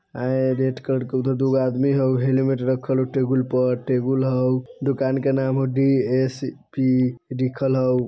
ए red colour के उधर दुगो आदमी हउ हेलमेट रखल हउ टेबुल पर टेबुल हउ दुकान के नाम हउ डी_एस पी लिखल हउ।